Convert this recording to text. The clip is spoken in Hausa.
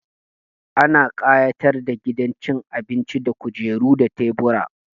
Ana ƙayatar da gidan cin abinci da kujeru da tebura.